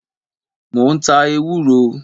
Mo ń ta ewúro.